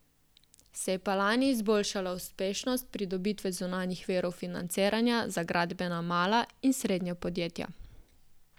Se je pa lani izboljšala uspešnost pridobitve zunanjih virov financiranja za gradbena mala in srednja podjetja.